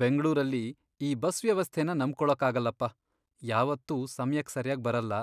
ಬೆಂಗ್ಳೂರಲ್ಲಿ ಈ ಬಸ್ ವ್ಯವಸ್ಥೆನ ನಂಬ್ಕೊಳಕ್ಕಾಗಲ್ಲಪ್ಪ, ಯಾವತ್ತೂ ಸಮ್ಯಕ್ ಸರ್ಯಾಗ್ ಬರಲ್ಲ